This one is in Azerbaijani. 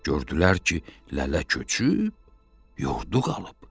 Gördülər ki, lələ köçüb yurdu qalıb.